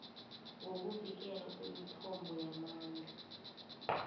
ngokuvikelwa kwemithombo yamandla